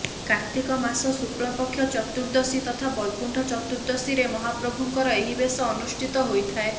କାର୍ତ୍ତିକ ମାସ ଶୁକ୍ଲ ପକ୍ଷ ଚତୁର୍ଦ୍ଦଶୀ ତଥା ବୈକୁଣ୍ଠ ଚତୁର୍ଦ୍ଦଶୀରେ ମହାପ୍ରଭୁଙ୍କର ଏହି ବେଶ ଅନୁଷ୍ଠିତ ହୋଇଥାଏ